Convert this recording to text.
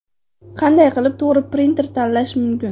Qanday qilib to‘g‘ri printer tanlash mumkin?.